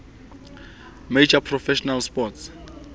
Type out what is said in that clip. major professional sports